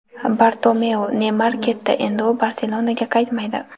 Bartomeu: "Neymar ketdi, endi u "Barselona"ga qaytmaydi".